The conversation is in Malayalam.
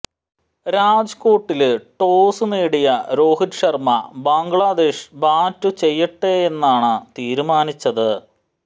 രാജ്കോട്ടില് ടോസ് നേടിയ രോഹിത് ശര്മ്മ ബംഗ്ലാദേശ് ബാറ്റു ചെയ്യട്ടെയെന്നാണ് തീരുമാനിച്ചത്